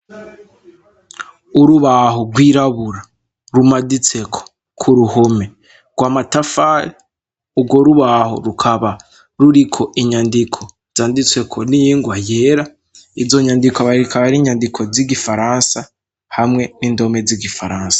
urubaho rw'irabura rumaditseko ku ruhume rwa matafari ugo rubaho rukaba ruriko inyandiko zanditseko n'ingwa yera iyo nyandiko aba rikaba rinyandiko z'igifaransa hamwe n'indome z'igifaransa